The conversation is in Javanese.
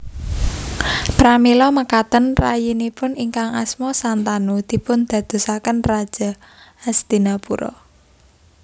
Pramila mekaten rayinipun ingkang asma Santanu dipundadosaken Raja Hastinapura